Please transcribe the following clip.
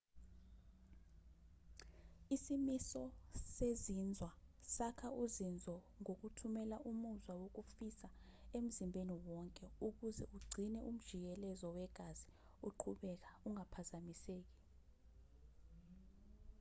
isimiso sezinzwa sakha uzinzo ngokuthumela umuzwa wokufisa emzimbeni wonke ukuze ugcine umjikelezo wegazi uqhubeka ungaphazamiseki